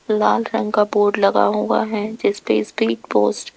लाल रंग का बोर्ड लगा हुआ है जिस पे स्पीड पोस्ट --